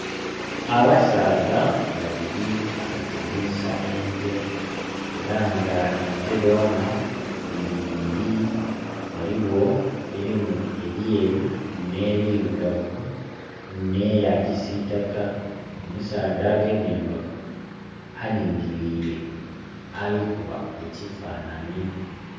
Abasaadha babiri balikulimisa ente era nga ente dhona dhili ibiri, waliwo erimu ebyeru ne birugavu nh'eyakisitaka. Omusadha agemye embago alingilire ali kuba ekifananye.